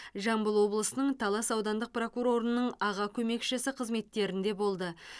жамбыл облысының талас аудандық прокурорының аға көмекшісі қызметтерінде болды